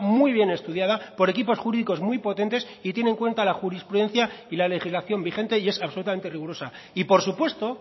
muy bien estudiada por equipos jurídicos muy potentes y tiene en cuenta la jurisprudencia y la legislación vigentes y es absolutamente rigurosa y por supuesto